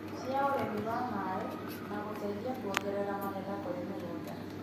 cia ũrĩmi wa maĩ na gũteithia kuongerera magetha kũrĩ mĩgũnda.